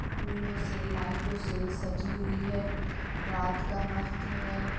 फूलों से लाइटो से सजी हुई है रात का वक़्त है।